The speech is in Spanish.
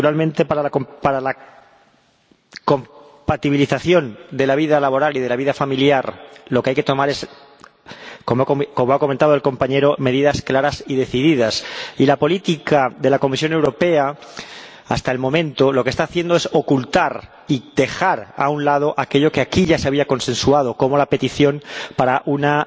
Naturalmente, para la compatibilización de la vida laboral y la vida familiar, lo que hay que tomar es —como ha comentado el compañero— medidas claras y decididas, y la política de la Comisión Europea hasta el momento lo que está haciendo es ocultar y dejar a un lado aquello que aquí ya se había consensuado, como la petición de una